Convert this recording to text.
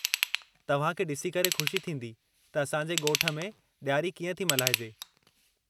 तव्हां खे ॾिसी करे खु़शी थींदी त असांजे ॻोठ में ॾियारी कीअं थी मल्हाइजे।